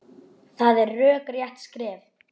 Það er rökrétt skref.